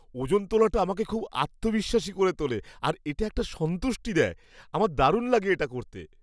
ওজন তোলাটা আমাকে খুব আত্মবিশ্বাসী করে তোলে আর একটা সন্তুষ্টি দেয়। আমার দারুণ লাগে এটা করতে।